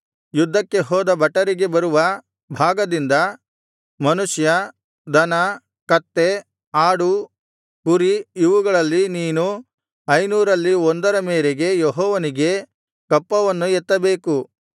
ಯುದ್ಧಕ್ಕೆ ಹೋದ ಭಟರಿಗೆ ಬರುವ ಭಾಗದಿಂದ ಮನುಷ್ಯ ದನ ಕತ್ತೆ ಆಡು ಕುರಿ ಇವುಗಳಲ್ಲಿ ನೀನು ಐನೂರರಲ್ಲಿ ಒಂದರ ಮೇರೆಗೆ ಯೆಹೋವನಿಗೆ ಕಪ್ಪವನ್ನು ಎತ್ತಬೇಕು